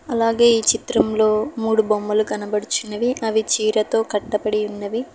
అలాగే ఈ చిత్రంలో మూడు బొమ్మలు కనబడుచున్నవి అవి చీరతో కట్టబడి ఉన్నాయి.